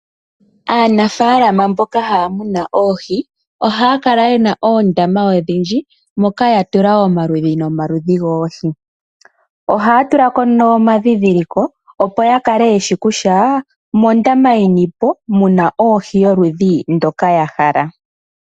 Aanafaalama mboka haya munu oohi ohaya kala yena oondama odhindji moka ya tula omaludhi nomaludhi goohi. Ohaya tula konee omandhindhiliko, opo ya kale yeshi kutya omondama yini po muna ohi yoludhi ndoka ya hala.